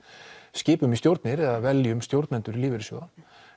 skipum í stjórnir eða veljum stjórnendur lífeyrissjóða